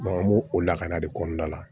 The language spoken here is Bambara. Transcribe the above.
an b'o o lakara de kɔnɔna la